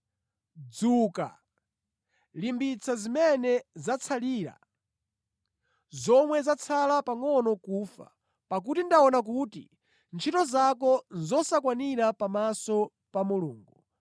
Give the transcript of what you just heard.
Dzuka! Limbitsa zimene zatsalira zomwe zatsala pangʼono kufa, pakuti ndaona kuti ntchito zako nʼzosakwanira pamaso pa Mulungu.